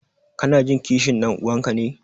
Kanajin kishin ɗan'uwanka ne?